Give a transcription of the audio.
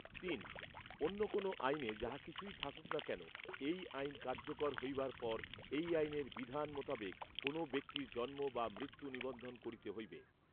তিন। অন্য কোন আইনে যাহা কিছুই থাকুক না কেন, এই আইন কার্যকর হইবার পর এই আইনের বিধান মোতাবেক কোন ব্যক্তির জন্ম বা মৃত্যু নিবন্ধন করিতে হইবে৷